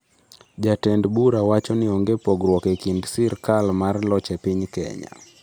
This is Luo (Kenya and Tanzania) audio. "Jatend bura wacho ni onge pogruok e kind sirkal mar loch e piny Kenya".